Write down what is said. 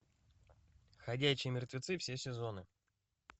ходячие мертвецы все сезоны